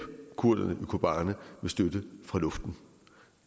kurderne i kobane med støtte fra luften